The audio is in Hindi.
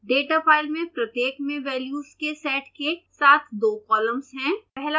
डेटा फ़ाइल में प्रत्येक में वेल्यूज के सेट के साथ दो कॉलम्स हैं